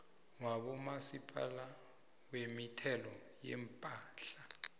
wabomasipala wemithelo yepahla